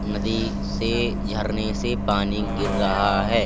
नदी से झरने से पानी गिर रहा है।